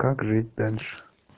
как жить дальше